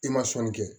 I ma sɔnni kɛ